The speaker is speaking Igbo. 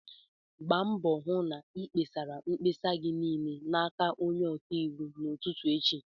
Gba mbọ hụ na-ịkpesara mkpesa gị niile n'aka onye ọka iwu n'ụtụtụ echi!